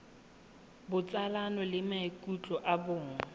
botsalano le maikutlo a bong